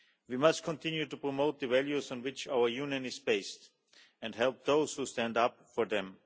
We must continue to promote the values on which our Union is based, and help those who stand up for them.